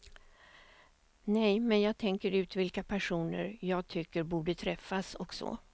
Nej, men jag tänker ut vilka personer jag tycker borde träffas och så.